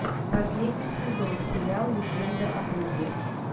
последний сезон сериал легенда о круге